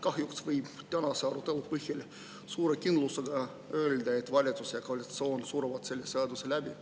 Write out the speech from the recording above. Kahjuks võib tänase arutelu põhjal suure kindlusega öelda, et valitsus ja koalitsioon suruvad selle seaduse läbi.